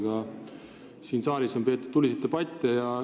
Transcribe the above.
Ka siin on selle üle tuliseid debatte peetud.